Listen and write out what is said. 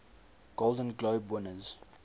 golden globe winners